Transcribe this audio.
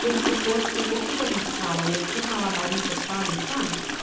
Como se fosse, o que a gente fala hoje, que os malabaristas fazem, sabe?